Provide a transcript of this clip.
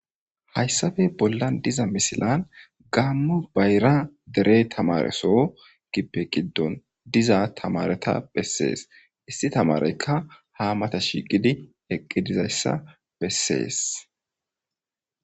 Hayssafe bollan diza misilan gammu bayra dere tamareso gippe giddon diza tamareta bessees issi tamareykka hamata shigidi eqqidizayssa bessees.